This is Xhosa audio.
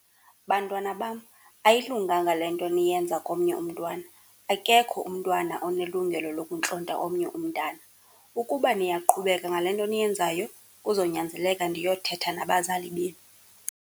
Bantwana bam, ayilunganga le nto niyenza komnye umntwana, akekho umntwana onelungelo lokuntlonta omnye umntana. Ukuba niyaqhubeka ngale nto niyenzayo kuzonyanzeleka ndiyothetha nabazali benu.